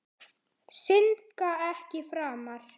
Syndga ekki framar.